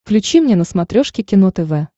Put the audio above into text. включи мне на смотрешке кино тв